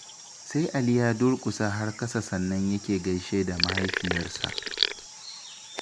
Sai Ali ya durƙusa har kasa sannan yake gaishe da mahaifiyarsa.